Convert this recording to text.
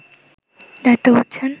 দায়িত্ব করছেন